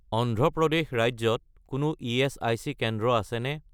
অন্ধ্ৰ প্ৰদেশ ৰাজ্যত কোনো ইএচআইচি কেন্দ্ৰ আছেনে?